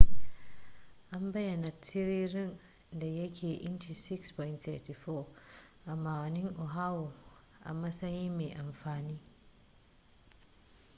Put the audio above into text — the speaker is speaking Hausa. an bayyana tiririn da ya kai inci 6.34 a ma'aunin oahu a matsayin mai amfani